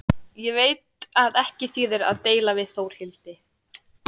Ég veit að ekki þýðir að deila við Þórhildi.